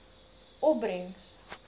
opbrengs